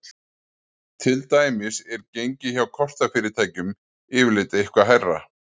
Til dæmis er gengi hjá kortafyrirtækjum yfirleitt eitthvað hærra.